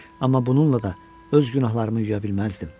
Amma bununla da öz günahlarımı yuya bilməzdim.